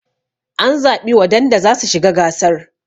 an zaɓi wadanda za su shi ga gasar